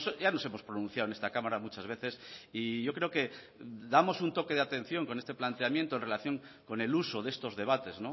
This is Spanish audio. ya nos hemos pronunciado en esta cámara muchas veces y yo creo que damos un toque de atención con este planteamiento en relación con el uso de estos debates